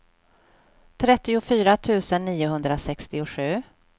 trettiofyra tusen niohundrasextiosju